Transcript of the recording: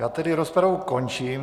Já tedy rozpravu končím.